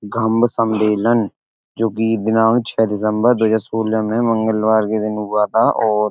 घम्म सम्बेलन जो की दिनांक छह दिसंबर दो हज़ार सोलह में मंगलवार के दिन हुआ था और --